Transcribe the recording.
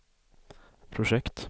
projekt